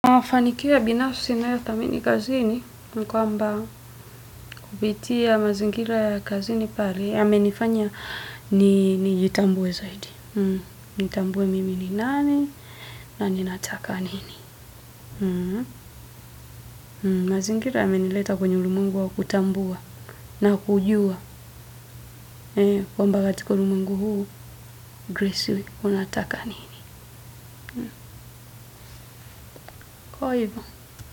Mafanikio ya binafsi nayothamini kazini, ni kwamba kupitia mazingira ya kazini pale, yamenifanya nijitambue zaidi. Nitambue mimi ni nani, na ninataka nini. Mazingira yamenileta kwenye ulimwengu wa kutambua na kujua, kwamba katika ulimwengu huu, grace, unataka nini.